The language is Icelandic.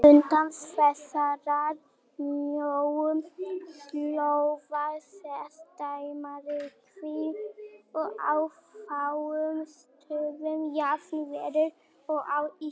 Utan þessarar mjóu slóðar sést deildarmyrkvi og á fáum stöðum jafn verulegur og á Íslandi.